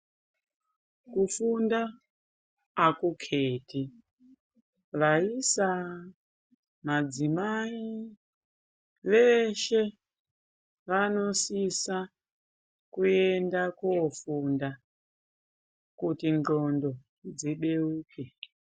Kufunda aku keti vaisa madzimai veshe vanosisa kuenda ko funda kuti ndxondo dzi beuke.